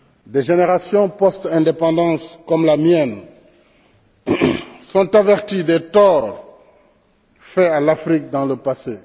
Des générations post indépendance, comme la mienne, sont averties des torts faits à l'Afrique dans le passé.